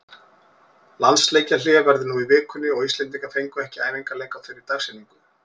Landsleikjahlé verður nú í vikunni og Íslendingar fengu ekki æfingaleik á þeirri dagsetningu.